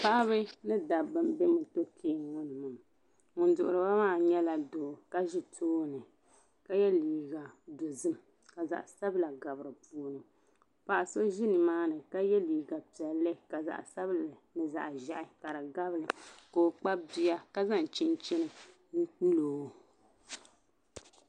Paɣaba ni daba n be mɔtɔkiya ŋɔniŋɔ, ŋun dihiri ba maa nyɛla doo ka ʒi tooni, ka ye liiga dozim ka zaɣi sabila. gabi dini, paɣa so ʒinimaani ka ye liiga. piɛli ka zaɣi sabila nizaɣi ʒɛhi ka di tabili ka ɔ kpabiya ka zaŋ chinchini n pɛlɔ